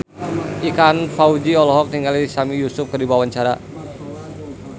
Ikang Fawzi olohok ningali Sami Yusuf keur diwawancara